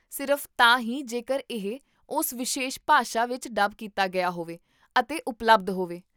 ਸਿਰਫ਼ ਤਾਂ ਹੀ ਜੇਕਰ ਇਹ ਉਸ ਵਿਸ਼ੇਸ਼ ਭਾਸ਼ਾ ਵਿੱਚ ਡੱਬ ਕੀਤਾ ਗਿਆ ਹੋਵੇ ਅਤੇ ਉਪਲਬਧ ਹੋਵੇ